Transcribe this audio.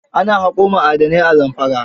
Ana haƙo ma'adanai a Zamfara